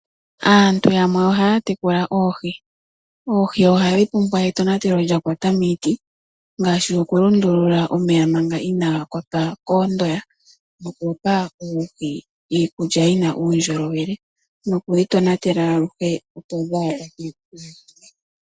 Aantu yamwe ohaya tekula oohi, oohi ohadhi pumbwa etonatelo lyakwata miiti ngaashi oku lundulula omeya manga inaga kwatwa koondoya, nokupa oohi iikulya yina uundjolowele nokuyi tonatela aluhe opo dhaakwatwe komikithi.